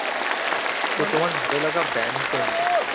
ভালোলাগা band কোনটি?